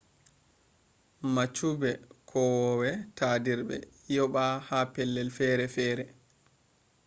mabchube kowowe tadirbe yaba ha pellel fere fere